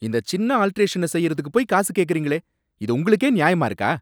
இந்த சின்ன ஆல்டரேஷன செய்யறதுக்கு போயி காசு கேக்குறீங்களே! இது உங்களுக்கே ஞாயமா இருக்கா?